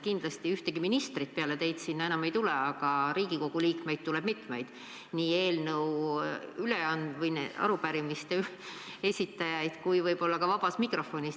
Kindlasti ühtegi ministrit peale teid sinna enam ei tule, aga Riigikogu liikmeid tuleb mitmeid, nii arupärimiste esitajaid kui võib-olla ka vabas mikrofonis.